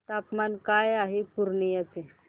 तापमान काय आहे पूर्णिया चे